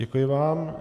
Děkuji vám.